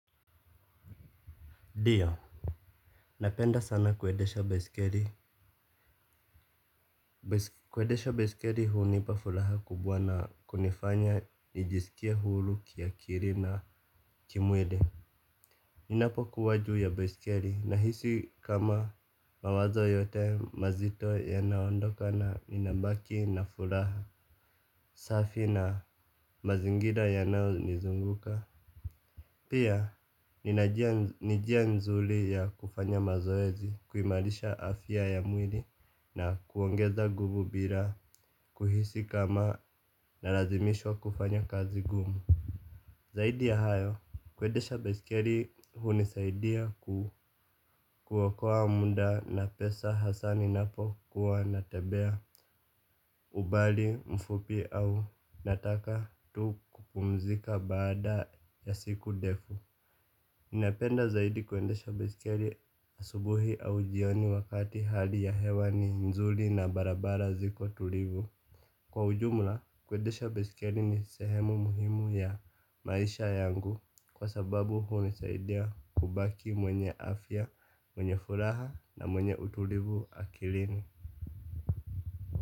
Ndiyo, napenda sana kuendesha baiskeli. Kuendesha baiskeli hunipa furaha kubwa na kunifanya nijisikie huru kiakili na kimwili. Ninapokuwa juu ya baiskeli nahisi kama mawazo yote mazito yanaondoka na ninabaki na furaha. Safi na mazingira yanayo nizunguka. Pia, ninajua ni njia nzuri ya kufanya mazoezi, kuimarisha afya ya mwili na kuongeza nguvu bila, kuhisi kama nalazimishwa kufanya kazi ngumu. Zaidi ya hayo, kuendesha baiskeli hunisaidia kuokoa muda na pesa hasa ninapokuwa natembea ubali mfupi au nataka tu kupumzika baada ya siku ndefu. Ninapenda zaidi kuendesha baiskeli asubuhi au jioni wakati hali ya hewa ni nzuri na barabara ziko tulivu. Kwa ujumla kuendesha baiskeli ni sehemu muhimu ya maisha yangu. Kwa sababu hunisaidia kubaki mwenye afya, mwenye furaha na mwenye utulivu akilini.